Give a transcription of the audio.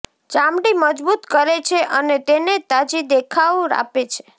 ચામડી મજબૂત કરે છે અને તેને તાજી દેખાવ આપે છે